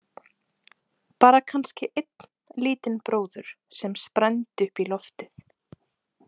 Bara kannski einn lítinn bróður sem sprændi upp í loftið.